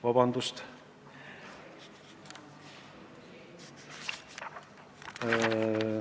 Vabandust!